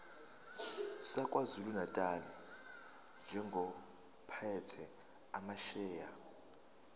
sakwazulunatali njengophethe amasheya